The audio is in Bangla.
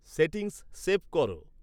সেটিংস সেভ করো